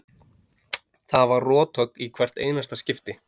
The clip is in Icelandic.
Það var rothögg í hvert einasta skipti.